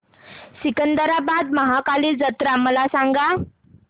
सिकंदराबाद महाकाली जत्रा मला सांगा